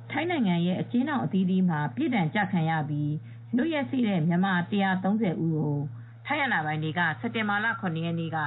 ထိုင်းနိုင်ငံရဲ့ အကျဉ်းထောင်အသီးသီးမှာ ပြစ်ဒဏ်ကျခံပြီး လွတ်ရက်စေ့တဲ့ မြန်မာ ၁၃၀ ဦးကို ထိုင်းအာဏာပိုင် တွေက စက်တင်ဘာလ ၇ ရက်နေ့က